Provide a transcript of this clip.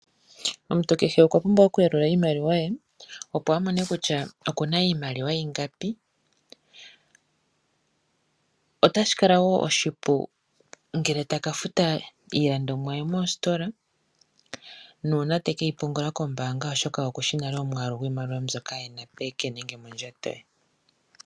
Omuntu kehe okwa pumbwa okuyalula iimaliwa ye opo amone kutya iimaliwa oyili ingapi otashi kala wo oshipu ngele taka futa iilandonwa ye mositola nenge uuna tekeyi pungula oshoka okushi nale iimaliwa mbyoka ena mondjato ye.